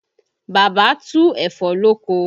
Bàbá tu ẹ̀fọ́ lóko